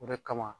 O de kama